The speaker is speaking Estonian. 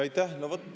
Aitäh!